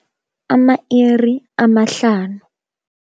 Ama-iri amahlanu.